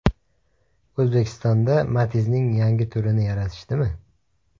O‘zbekistonda Matiz’ning yangi turini yaratishdimi?